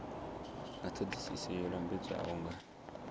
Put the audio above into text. nga thodisiso yo lambedzwaho nga